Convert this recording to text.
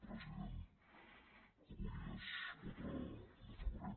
president avui és quatre de febrer